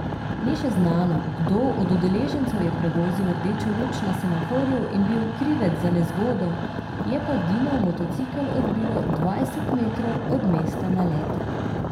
Ni še znano, kdo od udeležencev je prevozil rdečo luč na semaforju in bil krivec za nezgodo, je pa Dinov motocikel odbilo dvajset metrov od mesta naleta.